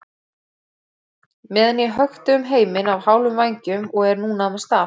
meðan ég hökti um heiminn á hálfum vængjum og er núna með staf.